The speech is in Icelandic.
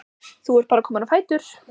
Þú ert bara kominn á fætur?